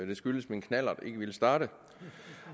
det skyldtes at min knallert ikke ville starte